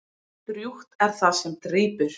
Drjúgt er það sem drýpur.